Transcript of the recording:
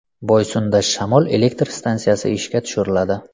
Boysunda shamol elektr stansiyasi ishga tushiriladi.